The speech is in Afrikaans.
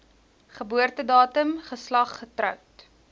geboortedatum geslag getroud